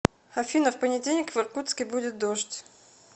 афина в понедельник в иркутске будет дождь